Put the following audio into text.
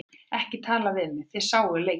Ekki tala við mig, þið sáuð leikinn.